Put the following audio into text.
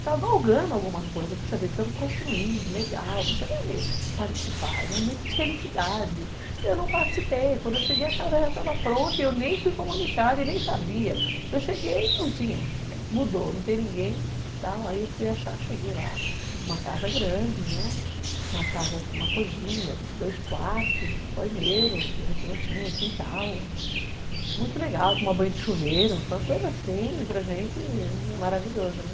estava galgando alguma coisa, poxa vida, estamos construindo, legal, você vai participar, é um momento de felicidade, eu não participei, quando eu cheguei a casa já estava pronta, eu nem fui comunicada e nem sabia, eu cheguei e não tinha, mudou, não tem ninguém, aí eu fui achar, cheguei lá, uma casa grande, né, uma casa com uma cozinha, dois quartos, um banheiro, que a gente não tinha, quintal, muito legal, tomar banho de chuveiro, foi uma coisa assim, para a gente, maravilhosa, né?